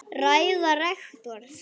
Ræða rektors